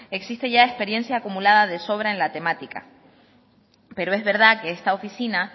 existe ya experiencia acumulada ya de sobra en la temática pero es verdad que esta oficina